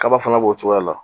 Kaba fana b'o cogoya de la